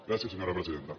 gràcies senyora presidenta